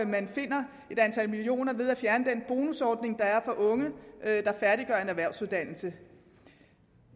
man finder et antal millioner ved at fjerne den bonusordning der er for unge der færdiggør en erhvervsuddannelse